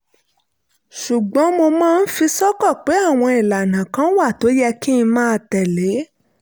ṣùgbọ́n mo máa ń fi sọ́kàn pé àwọn ìlànà kan wà tó yẹ kí n máa tẹ̀lé